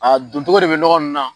A doncogo de bɛ nɔgɔ ninnu na.